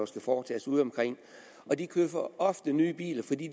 skal foretages udeomkring de køber ofte nye biler fordi